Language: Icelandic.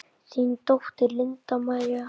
Þín dóttir, Linda María.